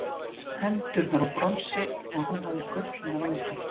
Hendurnar voru úr bronsi og hún hafði gullna vængi.